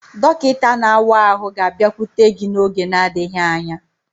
Dọkịta na-awa ahụ ga-abịakwute gị n'oge n'adịghị anya.